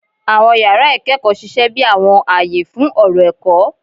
Àwọn yàrá ìkẹ́kọ̀ọ́ ṣiṣẹ́ bí àwọn àyè fún ọ̀rọ̀ ẹ̀kọ́.